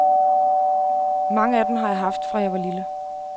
Mange af dem har jeg haft, fra jeg var lille.